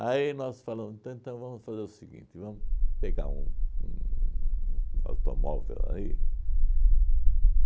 nós falamos, então vamos fazer o seguinte, vamos pegar um um um automóvel aí.